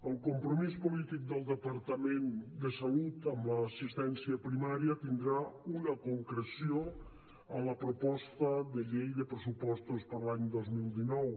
el compromís polític del departament de salut amb l’assistència primària tindrà una concreció en la proposta de llei de pressupostos per a l’any dos mil dinou